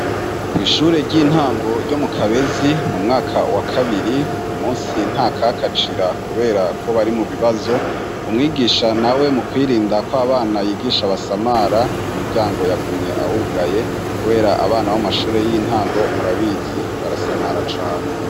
Kwishure ry'intango ryo mu Kabezi mu mwaka wa kabiri uyu munsi nta kakacira kubera ko bari mu bibazo umwigisha nawe mu kwirinda ko abana yigisha basamara umuryango yagumye awugaye kubera abana bamashure y'intango murabizi barasamara cane.